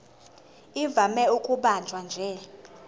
ivame ukubanjwa nje